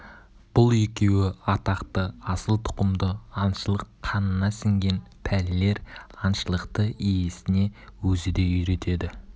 бұл екеуі атақты асыл тұқымды аңшылық қанына сіңген пәлелер аңшылықты иесіне өзі де үйретеді